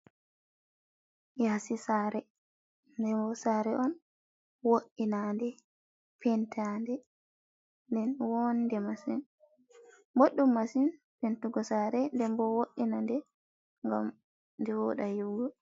yaasi saare ndebo saare on wo’inaande pentaande nden woonde masin boɗɗum masin pentugo saare ndebo wo’ina nde ngam de wooɗa yi'ugo.